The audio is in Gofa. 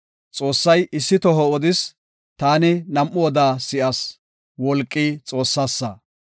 Xoossay issi toho odis; taani nam7u oda si7as; wolqi xoossasa.